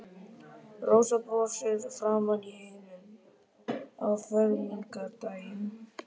Rósa brosir framan í heiminn á fermingardaginn.